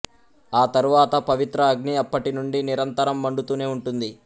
ఆ తరువాత పవిత్ర అగ్ని అప్పటి నుండి నిరంతరం మండుతూనే ఉంటుంది